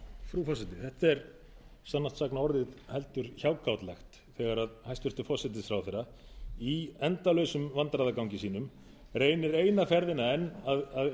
þetta er sannast sagna orðið heldur hjákátlegt þegar hæstvirtur forsætisráðherra í endalausum vandræðagangi sínum reynir eina ferðina enn að